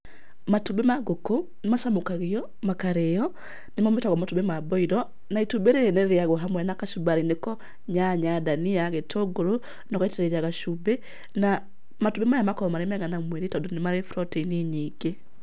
Matumbĩ ma ngũkũ nĩ macamũkagio makarĩo, nĩmo metagwo matumbĩ ma mboiro, na itumbĩ rĩrĩ rĩrĩagwo hamwe na kachumbari nĩko; nyanya, dania, gĩtũngũrũ na ũgaitĩrĩria gacumbĩ, na matumbĩ maya makoragũo marĩ mega na mwĩrĩ tondũ nĩ marĩ proteini nyingĩ.